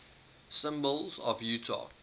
symbols of utah